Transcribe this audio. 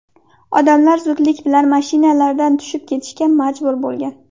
Odamlar zudlik bilan mashinalardan tushib ketishga majbur bo‘lgan.